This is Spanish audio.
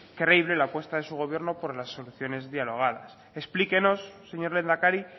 creíble la puesta de su gobierno por las soluciones dialogadas explíquenos señor lehendakari